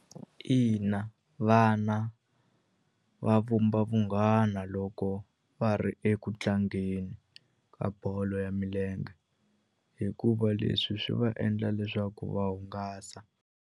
Ina vana va vumba vunghana loko va ri eku tlangeni ka bolo ya milenge hikuva leswi swi va endla leswaku va hungasa.